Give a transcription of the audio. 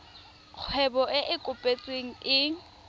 kgwebo e e kopetsweng e